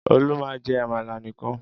Olú máa ń jẹ àmàlà nìkan.